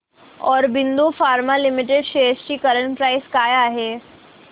Aurobindo pharma limited shares ची current price काय आहे